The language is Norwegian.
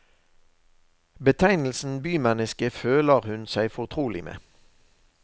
Betegnelsen bymenneske føler hun seg fortrolig med.